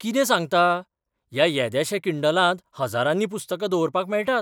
कितें सांगता? ह्या येद्याशा किंडलांत हज्जारांनी पुस्तकां दवरपाक मेळटात?